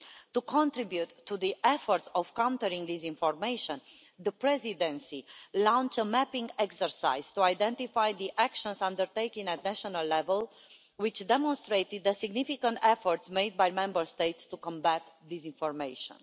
To contribute to the efforts of countering disinformation, the Presidency launched a mapping exercise to identify the actions undertaken at national level, which demonstrated the significant efforts made by Member States to combat disinformation.